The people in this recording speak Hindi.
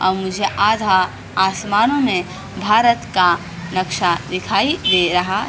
अब मुझे आधा आसमानों में भारत का नक्शा दिखाई दे रहा है ।